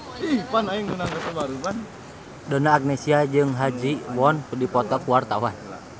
Donna Agnesia jeung Ha Ji Won keur dipoto ku wartawan